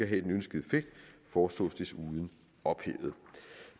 have den ønskede effekt foreslås desuden ophævet